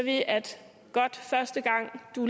godt første gang du